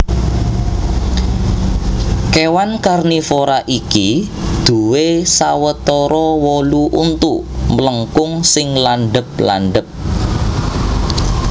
Kèwan karnivora iki duwè sawetara wolu untu mlengkung sing landhep landhep